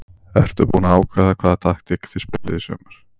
Ertu búin að ákveða hvaða taktík þið spilið í sumar?